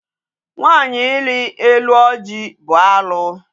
Nwaanyị ili elu ọjị bụ alụ.